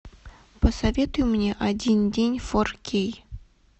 посоветуй мне один день фор кей